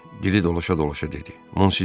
Dili dolaşa-dolaşa dedi: Monsinyor.